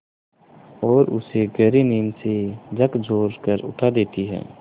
और उसे गहरी नींद से झकझोर कर उठा देती हैं